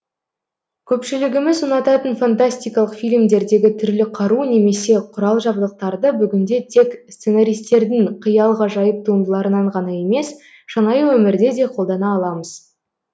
көпшілігіміз ұнататын фантастикалық фильмдердегі түрлі қару немесе құрал жабдықтарды бүгінде тек сценаристердің қиял ғажайып туындыларынан ғана емес шынайы өмірде де қолдана аламыз